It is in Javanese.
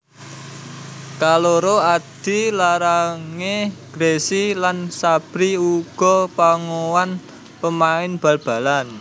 Kaloro adi lanangé Gressy lan Sabri uga pawongan pemain bal balan